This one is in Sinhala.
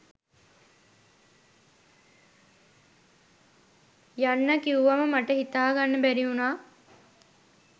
යන්න කිව්වම මට හිතාගන්න බැරි වුණා.